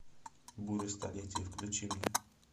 буря столетия включи мне